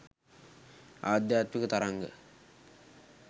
ආධ්‍යාත්මික තරංග